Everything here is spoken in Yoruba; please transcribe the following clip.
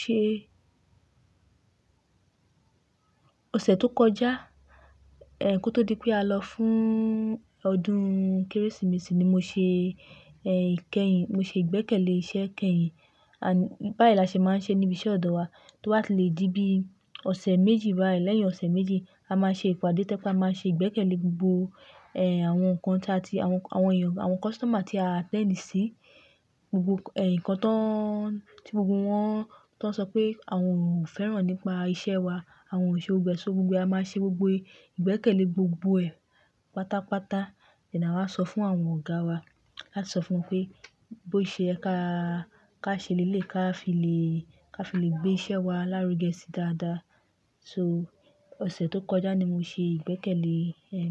Ṣé ọ̀sẹ̀ tó kọjá, eh kó tó di pé a lọ fún ọdún Kérésìmesì ni mo ṣe eh ìkẹyìn, mo ṣe ìgbẹ́kẹ̀lé iṣẹ́ kẹyìn. À bá yẹn la ṣe máa ń ṣe níbi iṣẹ́ ọ̀dọ̀ wa, tí ó máa ti lè dí bí ọ̀sẹ̀ méjì wá. Lẹ́yìn ọ̀sẹ̀ méjì, a máa ṣe ìpàdé tẹ́ kí a máa ṣe ìgbẹ́kẹ̀lé gbogbo eh àwọn nǹkan tà tí àwọn, àwọn èèyàn, àwọn customer tí a attend sí. Gbogbo ẹ̀ nǹkan tán tí gbogbo wọn tó ń sọ pé àwọn ò fẹ́ràn nípa iṣẹ́ wa, àwọn ò ṣe ò gbẹ́ṣẹ́. So gbogbo a máa ṣe gbogbo ìgbẹ́kẹ̀lé gbogbo ẹ̀ pátápátá, lẹ́yin náà a máa sọ fún àwọn ọ̀gá wa. A máa sọ fún wọn pé bó ṣe ẹ ká, ká ṣe lé lé ká fi lè, ká fi lè gbé iṣẹ́ wa lárugẹ sí dáadáa. So ọ̀sẹ̀ tó kọjá ni mo ṣe ìgbẹ́kẹ̀lé eh.